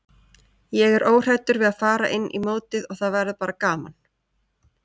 Ég er óhræddur við að fara inn í mótið og það verður bara gaman.